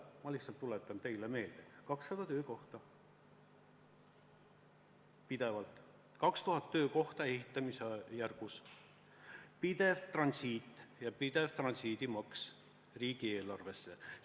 Ma lihtsalt tuletan teile meelde: 200 töökohta alaliselt, 2000 töökohta ehitamisjärgus, pidev transiit ja pidev transiidimaks riigieelarvesse.